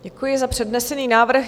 Děkuji za přednesený návrh.